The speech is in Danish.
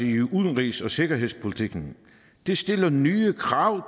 i udenrigs og sikkerhedspolitikken det stiller nye krav